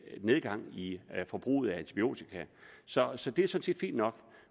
nedgang i forbruget af antibiotika så så det er sådan set fint nok